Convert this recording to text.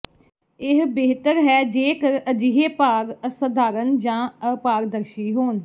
ਇਹ ਬਿਹਤਰ ਹੈ ਜੇਕਰ ਅਜਿਹੇ ਭਾਗ ਅਸਾਧਾਰਣ ਜਾਂ ਅਪਾਰਦਰਸ਼ੀ ਹੋਣ